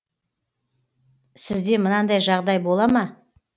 сізде мынандай жағдай бола ма